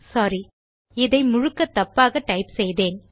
சோரி இதை முழுக்க தப்பாக டைப் செய்தேன்